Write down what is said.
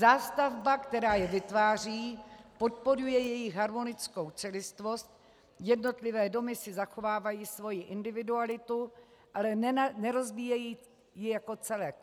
Zástavba, která je vytváří, podporuje jejich harmonickou celistvost, jednotlivé domy si zachovávají svoji individualitu, ale nerozbíjejí ji jako celek.